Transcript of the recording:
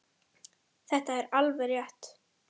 Þetta er alveg rétt.